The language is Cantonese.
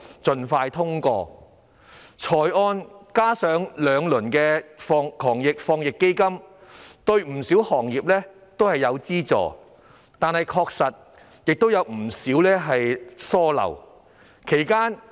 預算案加上兩輪防疫抗疫基金，對不少行業提供資助，但當中也有不少疏漏。